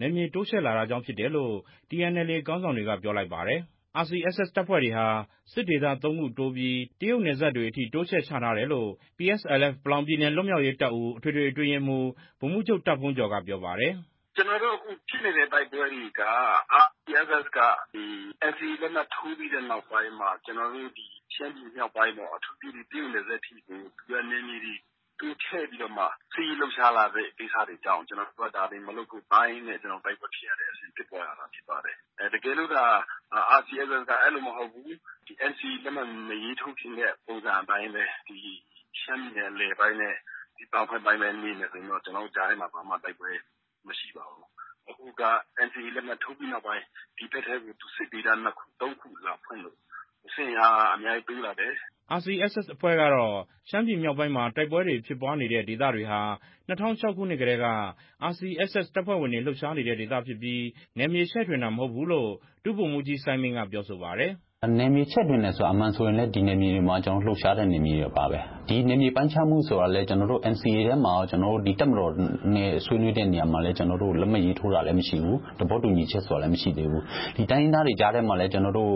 နယ်မြေတိုးချဲ့လာတာကြောင့် ဖြစ်တယ်လို့ TNLA ခေါင်းဆောင်တွေက ပြောလိုက်ပါတယ်။ RCSS တပ်ဖွဲ့တွေဟာ စစ်ဒေသ ၃ ခုတိုးပြီး တရုတ်နယ်စပ်တွေအထိ တိုးချဲ့ချထားတယ်လို့ PSLF ပလောင်ပြည်နယ် လွတ်မြောက်ရေးတပ်ဦး အထွေထွေအတွင်းရေးမှူး ဗိုလ်မှူးချူပ် တာ့ဘုန်းကျော် က ပြောပါတယ်။ "ကျနော်တို့ အခု ဖြစ်နေတဲ့ တိုက်ပွဲတွေက RCSS က ဒီ NCA ထိုးပြီးတဲ့နောက်ပိုင်း ကျနော်တို့ ဒီရှမ်းပြည်မြောက် ပိုင်းပေါ့ အထူးသဖြင့် ဒီ တရုတ်နယ်စပ်တွေကို သူကနယ်မြေတွေ တိုးချဲ့ပြီးတော့မှ စစ်ရေးလှုပ်ရှားလာတဲ့ ကိစ္စတွေကြောင့် ကျနော်တို့က ဒါတွေ မလုပ်ဖို့တားရင်းနဲ့ ကျနော်တို့ တိုက်ပွဲဖြစ်ရတဲ့အဆင့် ဖြစ်ပွားရတာ ဖြစ်ပါတယ်။ တကယ်လို့သာ RCSS က အဲလိုမဟုတ်ဘူး၊ ဒီ NCA လက်မှတ်မရေးထိုးခင်တဲ့ ပုံစံအတိုင်းပဲ ရှမ်းပြည်နယ် အလယ်ပိုင်းနဲ့ ဒီအောက်ဘက်ပိုင်းပဲ နေမယ်ဆိုရင်တော့ ကျနော်တို့ကြားထဲမှာ ဘာမှတိုက်ပွဲ မရှိပါဘူး၊ အခုက NCA ထိုးပြီးနောက်ပိုင်း ဒီဖက်ထဲကို စစ်ဒေသ ၂ ခု ၃ ခု လာဖွင့်လို့ စစ်အင်အား အများကြီးတိုးလာတယ်" RCSS အဖွဲ့ကတော့ ရှမ်းပြည်မြောက်ပိုင်းမှာ တိုက်ပွဲဖြစ်ပွားနေတဲ့ဒေသတွေဟာ ၂၀၀၆ ခုနှစ်ကတည်းက RCSS တပ်ဖွဲ့ဝင်တွေ လှုပ်ရှားနေတဲ့ ဒေသဖြစ်ပြီး နယ်မြေချဲ့ထွင်တာ မဟုတ်ဘူးလို့ ဒု ဗိုလ်မှူးကြီး စိုင်းမိဏ်း က ပြောဆိုပါတယ်။ "နယ်မြေချဲ့ထွင်တယ်ဆိုတာက အမှန်ဆိုရင်လည်း ဒီနယ်မြေတွေမှာ ကျနော်တို့ လှုပ်ရှားတဲ့နယ်မြေတွေပါပဲ၊ ဒီ နယ်မြေပိုင်းရှားမှုဆိုတာကလည်း ကျနော်တို့ NCA ထဲမှာရော ကျနော်တို့ ဒီတပ်မတော်နဲ့ ဆွေးနွေးတဲ့နေရာမှာ လည်း ကျနော်တို့ လက်မှတ်ရေးထိုးတာလည်းမရှိဘူး၊ သဘောတူညီချက်ဆိုတာလည်း မရှိသေးဘူး၊ ဒီတိုင်းရင်းသားတွေ ကြားထဲမှာလည်း ကျနော်တို့